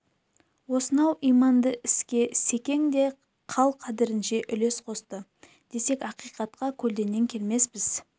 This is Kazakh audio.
осынау иманды іске секең де қал-қадерінше үлес қосты десек ақиқатқа көлденең келмеспіз